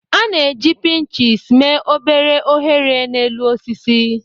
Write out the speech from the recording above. A na-eji pinches mee obere oghere n'elu osisi.